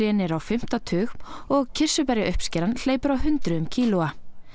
á fimmta tug og hleypur á hundruðum kílóa